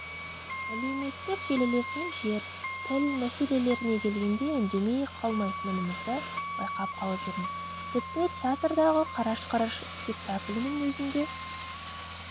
әлеуметтік желілерден жер тіл мәселелеріне келгенде үндемей қалмайтыныңызды байқап қалып жүрміз тіпті театрдағы қараш-қараш спектаклінің өзінде